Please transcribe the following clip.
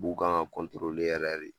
Buw kan ŋa yɛrɛ de.